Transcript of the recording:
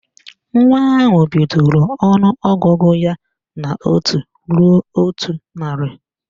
Nwa ahụ bidoro ọnụọgụgụ ya n' otu ruo otu narị